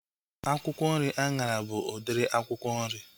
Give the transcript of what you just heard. Akwụkwọ nri anyara bụ udiri akwụkwọ nri